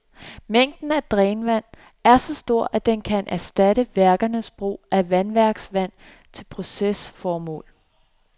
Mængden af drænvand er så stor, at den kan erstatte værkernes brug af vandværksvand til procesformål.